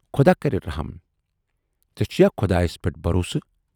خۅدا کرِ رٔحم۔ ژے چھُیا خۅدایَس پٮ۪ٹھ بھروٗسہٕ؟